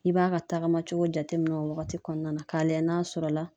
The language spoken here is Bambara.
I b'a ka tagama cogo jateminɛ o wagati kɔnɔna na k'a lajɛ n'a sɔrɔ la